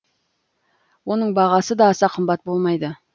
оның бағасы да аса қымбат болмайды